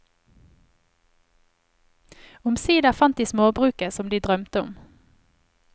Omsider fant de småbruket som de drømte om.